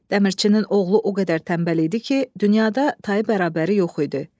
Dəmirçinin oğlu o qədər tənbəl idi ki, dünyada tayı bərabəri yox idi.